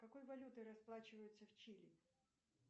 какой валютой расплачиваются в чили